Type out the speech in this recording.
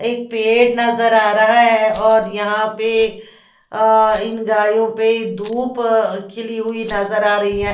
एक पेड़ नज़र आ रहा है और यहाँ पे अ इन गायो पे धुप खिली हुई नज़र आ रही है ।